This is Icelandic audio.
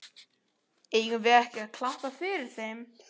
Eigum við ekki að klappa fyrir þeim?